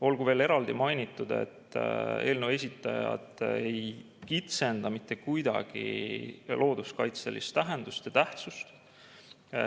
Olgu veel eraldi mainitud, et eelnõu esitajad ei kitsenda mitte kuidagi looduskaitse tähendust ja tähtsust.